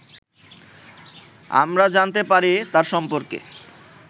আমরা জানতে পারি তার সম্পর্কে